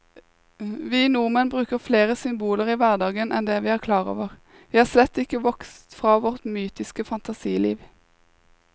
Vi nordmenn bruker flere symboler i hverdagen enn vi er klar over, vi er slett ikke vokst fra vårt mytiske fantasiliv.